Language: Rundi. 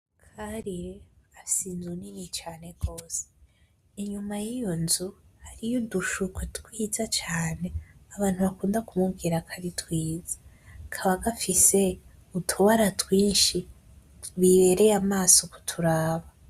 Karire afise inzu nini cane gose. Inyuma y'iyo nzu hariyo udushurwe twiza cane abantu bakunda kumubwira ko ari twiza. Kaba gafise utubara twinshi bibereye amaso kuturaba.